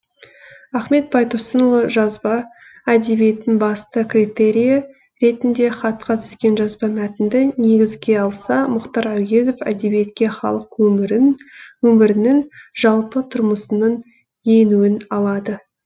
ахмет байтұрсынұлы жазба әдебиеттің басты критерийі ретінде хатқа түскен жазба мәтінді негізге алса мұхтар әуезов әдебиетке халық өмірінің жалпы тұрмысының енуін алады